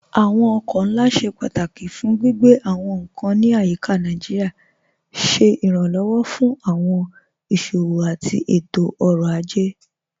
Awọn ọkọ̀ nlá ṣẹ pátákí fún gbigbe awọn nkan ní ayíká Naijíríà, ṣẹ iránlọ́wọ́ fún awọn iṣowo àti ètò-ọ̀rọ̀ ajẹ́.